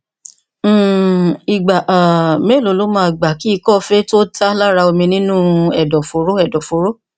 um ìgbà um mélòó ló máa gbà kí ikọ fée tó tá lára omi nínú u ẹ̀dọ̀fóró ẹ̀dọ̀fóró